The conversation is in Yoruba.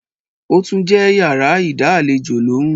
ó tún jẹ́ yàrá ìdá àlejò lóhùn.